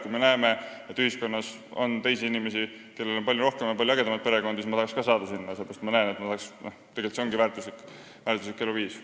Kui ühiskonnas on teisi inimesi, kellel on palju suurem ja palju ägedam perekond, siis ma tahaks ka nende hulka saada, seepärast et ma näen, et selline ongi väärtuslik eluviis.